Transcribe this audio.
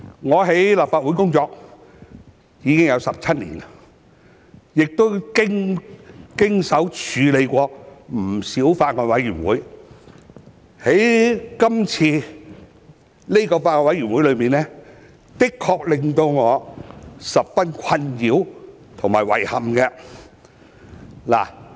我在立法會工作已有17年，亦曾經手處理不少法案委員會，但今次這個法案委員會確實令我十分困擾和遺憾。